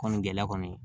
Kɔni gɛlɛya kɔni